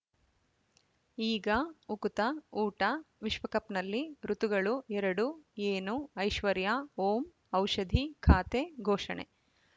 ಈಗ ಉಕುತ ಊಟ ವಿಶ್ವಕಪ್‌ನಲ್ಲಿ ಋತುಗಳು ಎರಡು ಏನು ಐಶ್ವರ್ಯಾ ಓಂ ಔಷಧಿ ಖಾತೆ ಘೋಷಣೆ